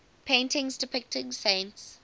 paintings depicting saints